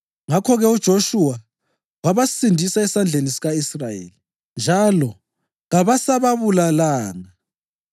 Ngakho-ke uJoshuwa wabasindisa esandleni sika-Israyeli, njalo kabasababulalanga.